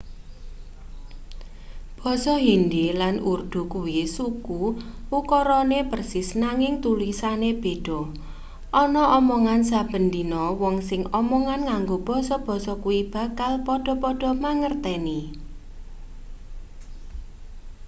basa hindi lan urdu kuwi suku ukarane persis nanging tulisane beda ana omongan saben dina wong sing omongan nganggo basa-basa kuwi bakal padha-padha mangerteni